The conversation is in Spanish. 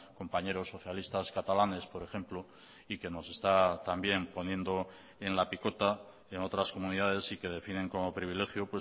compañeros socialistas catalanes por ejemplo y que nos está también poniendo en la picota en otras comunidades y que definen como privilegio